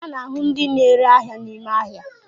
A na ahu ndi n'ere ahia n'ime ahia